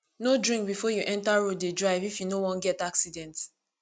no drink before you enter road dey drive if you no wan get accident